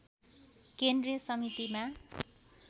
केन्द्रीय समितिमा